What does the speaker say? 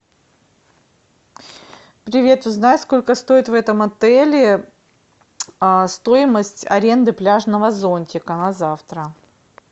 привет узнай сколько стоит в этом отеле стоимость аренды пляжного зонтика на завтра